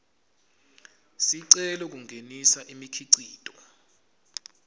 sicelo kungenisa imikhicito